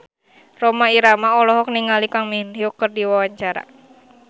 Rhoma Irama olohok ningali Kang Min Hyuk keur diwawancara